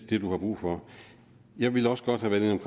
det du har brug for jeg ville også godt have